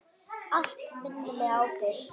Allt minnir mig á þig.